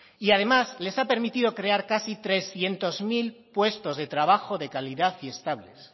y además les ha permitido crear casi trescientos mil puestos de trabajo de calidad y estables